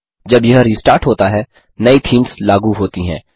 जब यह रिस्टार्ट होता है नई थीम्स लागू होती हैं